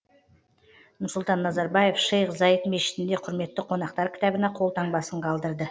нұрсұлтан назарбаев шейх заид мешітінде құрметті қонақтар кітабына қолтаңбасын қалдырды